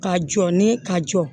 Ka jɔ ni ka jɔ